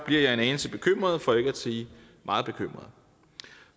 bliver jeg en anelse bekymret for ikke at sige meget bekymret